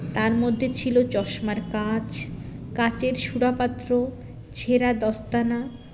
তার মধ্যে ছিলো চশমার কাচ কাচের সূরাপাত্র ছেড়া দস্তানা